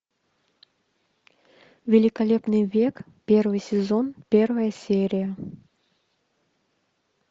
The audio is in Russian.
великолепный век первый сезон первая серия